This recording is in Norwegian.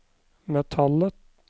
metallet